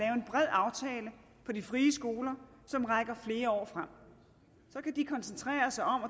og de frie skoler som rækker flere år frem så kan de koncentrere sig om